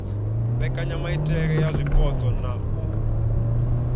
mbekanyamaitele ya zwipotso na u